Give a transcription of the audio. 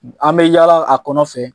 An bɛ yaala a kɔnɔ fɛ